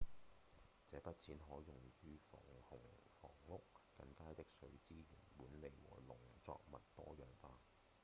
這筆錢可用於防洪房屋、更佳的水資源管理和農作物多樣化